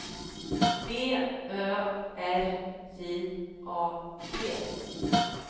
B Ö R J A T